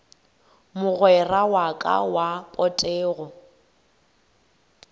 mogwera wa ka wa potego